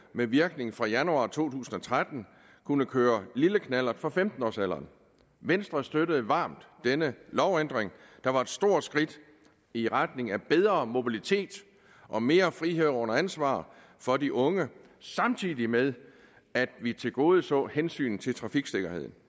med virkning fra januar to tusind og tretten kunne køre lille knallert fra femten årsalderen venstre støttede varmt denne lovændring der var et stort skridt i retning af bedre mobilitet og mere frihed under ansvar for de unge samtidig med at vi tilgodeså hensynet til trafiksikkerheden